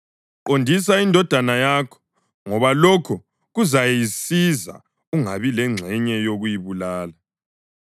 Qondisa indodana yakho, ngoba lokho kuzayisiza; ungabi lengxenye yokuyibulala.